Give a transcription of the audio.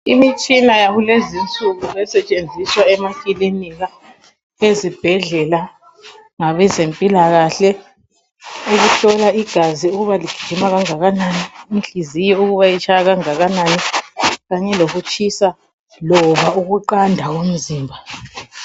Imitshina yakulezinsuku esetshenziswa emaklinika, ezibhendlela, ngabezempilakahle ukuhlola igazi ukuba ligijima kangakanani. Inhliziyo kuba itshaya kangakanani. Kanye lokutshisa loba ukuqanda komzimba.